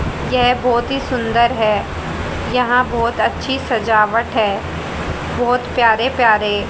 यह बहुत ही सुंदर है यहां बहुत अच्छी सजावट है बहुत प्यारे प्यारे।